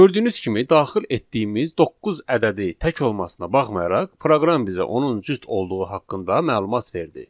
Gördüyünüz kimi daxil etdiyimiz doqquz ədədi tək olmasına baxmayaraq, proqram bizə onun cüt olduğu haqqında məlumat verdi.